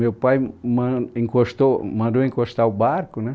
Meu pai m, man, encostou, mandou encostar o barco né